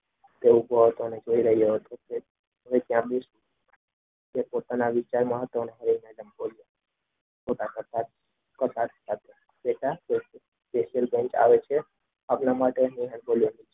તે ઉભો હતો ને જોઈ રહ્યો હતો પોતાના વિચારમાં હતો અને બોલ્યો.